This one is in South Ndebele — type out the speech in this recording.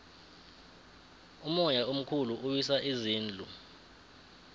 umoya omkhulu uwisa izindlu